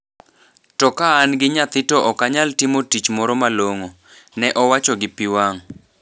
To kaan gi nyathi to okanyal timo tich moro malongo." Ne owacho gi pi wang'.